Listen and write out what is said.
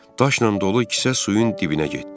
Daşla dolu kisə suyun dibinə getdi.